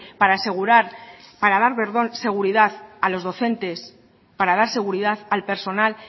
para asegurar para dar perdón seguridad a los docentes para dar seguridad al personal